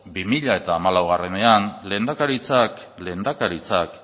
bi mila hamalauean lehendakaritzak